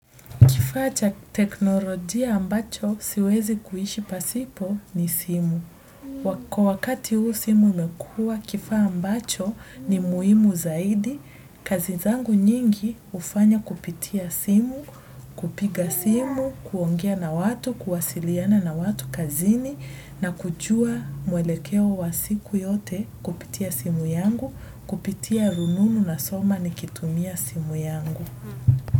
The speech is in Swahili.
Kifaa cha kiteknolojia ambacho siwezi kuishi pasipo ni simu kwa wakati huu simu imekua, kifaa ambacho ni muimu zaidi. Kazi zangu nyingi hufanya kupitia simu, kupiga simu, kuongea na watu, kuwasiliana na watu kazini, na kujua mwelekeo wa siku yote kupitia simu yangu, kupitia rununu na soma ni kitumia simu yangu.